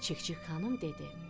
Çik-çik xanım dedi: